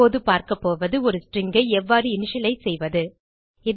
இப்போது பார்க்கப்போது ஒரு ஸ்ட்ரிங் ஐ எவ்வாறு இனிஷியலைஸ் செய்வது